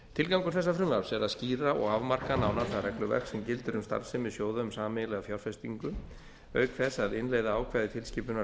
tilgangur þessa frumvarps er að skýra og afmarka nánar það regluverk sem gildir um starfsemi sjóða um sameiginlega fjárfestingu auk þess að innleiða ákvæði tilskipunar